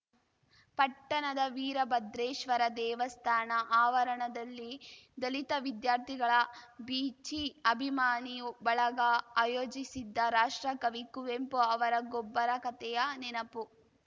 ಪಟ್ಟಣದ ವೀರಭದ್ರೇಶ್ವರ ದೇವಸ್ಥಾನ ಆವರಣದಲ್ಲಿ ದಲಿತ ವಿದ್ಯಾರ್ಥಿಗಳ ಬೀಚಿ ಅಭಿಮಾನಿಯು ಬಳಗ ಆಯೋಜಿಸಿದ್ದ ರಾಷ್ಟ್ರಕವಿ ಕುವೆಂಪು ಅವರ ಗೊಬ್ಬರ ಕತೆಯ ನೆನಪು